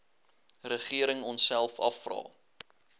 regering onsself afvra